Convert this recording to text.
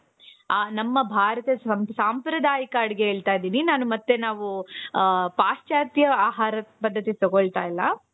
ಅ ನಮ್ಮ ಭಾರತದ ಸಂಪ್ರದಾಯಿಕ ಅಡುಗೆಯನ್ನು ಹೇಳ್ತಾ ಇದ್ದೀನಿ ಮತ್ತೆ ನಾವು ಪಾಶ್ಚಾತ್ಯ ಆಹಾರದ ಪದ್ಧತಿಯನ್ನು ತಗೊಳ್ತಾ ಇಲ್ಲ..